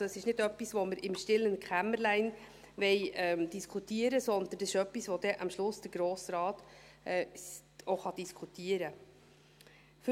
Also, es ist nicht etwas, das wir im stillen Kämmerlein diskutieren wollen, sondern etwas, das am Schluss auch der Grosse Rat diskutieren kann.